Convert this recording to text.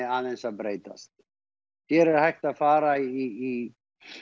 aðeins að breytast hér er hægt að fara í